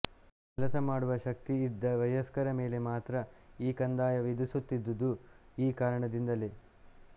ಕೆಲಸ ಮಾಡುವ ಶಕ್ತಿಯಿದ್ದ ವಯಸ್ಕರ ಮೇಲೆ ಮಾತ್ರ ಈ ಕಂದಾಯ ವಿಧಿಸುತ್ತಿದ್ದುದು ಈ ಕಾರಣದಿಂದಲೇ